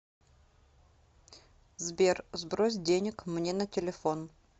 сбер сбрось денег мне на телефон